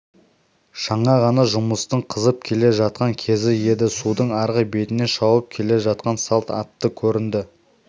жаңа ғана жұмыстың қызып келе жатқан кезі еді судың арғы бетінен шауып келе жатқан салт атты көрінді